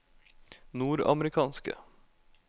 nordamerikanske